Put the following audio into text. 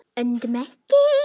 Öndum ekki.